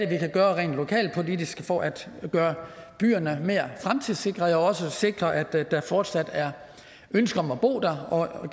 kan gøre rent lokalpolitisk for at gøre byerne mere fremtidssikrede og sikre at der fortsat er ønske om at bo der og at